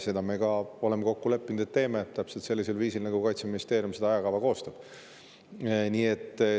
Me oleme kokku leppinud, et me teeme seda täpselt sellisel viisil, nagu Kaitseministeeriumi ajakava.